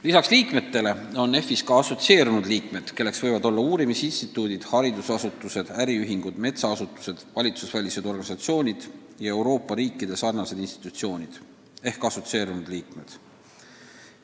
Lisaks liikmetele on EFI-s ka assotsieerunud liikmed, kelleks võivad olla uurimisinstituudid, haridusasutused, äriühingud, metsaasutused, vabaühendused ja muud samalaadse suunitlusega institutsioonid Euroopa riikidest.